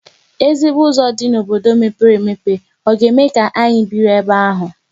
Ezigbo ụzọ dị n'obodo mepere emepe ọ ga-eme ka anyị biri ebe ahụ?